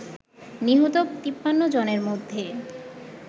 নিহত ৫৩ জনের মধ্যে